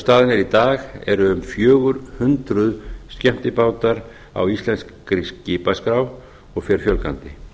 er í dag eru um fjögur hundruð skemmtibátar á íslenskri skipaskrá og fer fjölgandi